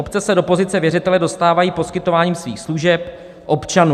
Obce se do pozice věřitele dostávají poskytováním svých služeb občanům.